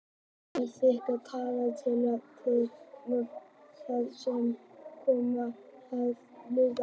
Hún þykir taka tillit til of fárra þátta sem koma að tilvist lífs.